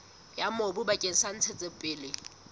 ya mobu bakeng sa ntshetsopele